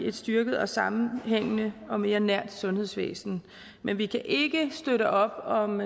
et styrket og sammenhængende og mere nært sundhedsvæsen men vi kan ikke støtte op om